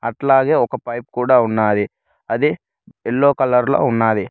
అట్లాగే ఒక పైపు కూడా ఉన్నాది అది ఎల్లో కలర్ లో ఉన్నాది.